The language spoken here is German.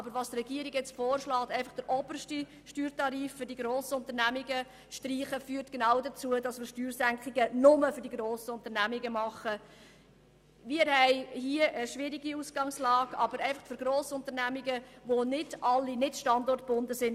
Wir haben hier eine schwierige Ausgangslage, aber was die Regierung nun vorschlägt, einfach den obersten Steuertarif, denjenigen für die Grossunternehmungen, zu streichen, führt dazu, dass solche Steuersenkungen nur den grossen Unternehmungen dienen, die alle nicht standortgebunden sind.